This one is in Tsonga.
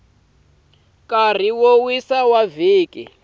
nkarhi wo wisa wa vhiki